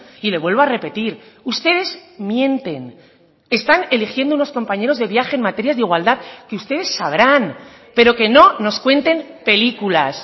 y le vuelvo a repetir ustedes mienten están eligiendo unos compañeros de viaje en materias de igualdad que ustedes sabrán pero que no nos cuenten películas